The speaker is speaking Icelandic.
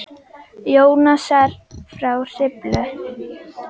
Jónasar frá Hriflu.